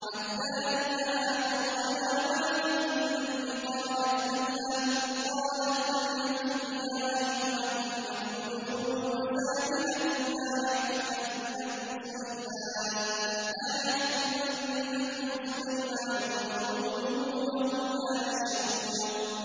حَتَّىٰ إِذَا أَتَوْا عَلَىٰ وَادِ النَّمْلِ قَالَتْ نَمْلَةٌ يَا أَيُّهَا النَّمْلُ ادْخُلُوا مَسَاكِنَكُمْ لَا يَحْطِمَنَّكُمْ سُلَيْمَانُ وَجُنُودُهُ وَهُمْ لَا يَشْعُرُونَ